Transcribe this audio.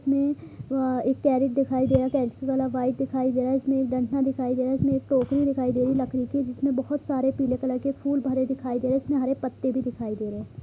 में वा एक कैरेट दिखाई दे रहा है कैरेट वाइट दिखाई दे रहा है| इसमें एक डंटा दिखाई दे रहा है इसमें एक टोकरी दिखाई दे रही लकड़ी की जिसमे बहुत सारे पीले कलर के फुल भरे दिखाई दे रहे हैं जिसमे हरे पत्ते भी दिखाई दे रहे हैं|